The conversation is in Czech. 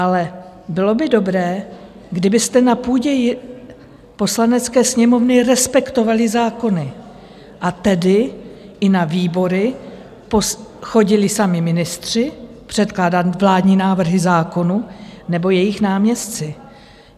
Ale bylo by dobré, kdybyste na půdě Poslanecké sněmovny respektovali zákony, a tedy i na výbory chodili sami ministři předkládat vládní návrhy zákonů, nebo jejich náměstci.